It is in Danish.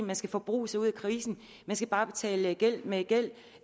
man skal forbruge sig ud af krisen man skal bare betale gæld med gæld